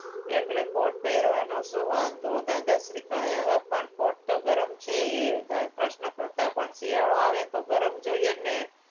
એટલે કોર્ટ પહેરવાનો શું વાંધો દાદાજી દાદા શ્રી કહે હવે પણ કોર્ટ તો ગરમ છે એ પ્રશ્ન કરતા પણ શિયાળો આવે તો ગરમ જોઈએ ને